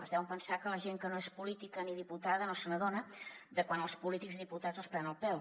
es deuen pensar que la gent que no és política ni diputada no s’adona de quan els polítics i diputats els prenen el pèl